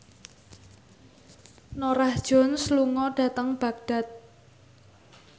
Norah Jones lunga dhateng Baghdad